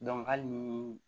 hali ni